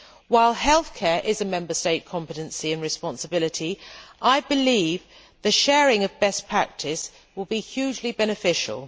While healthcare is a Member State competency and responsibility, I believe the sharing of best practice will be hugely beneficial.